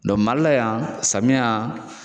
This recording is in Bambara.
Mali la yan samiya